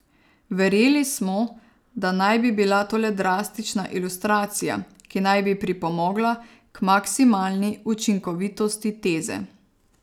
Verjeli smo, da naj bi bila to le drastična ilustracija, ki naj bi pripomogla k maksimalni učinkovitosti teze.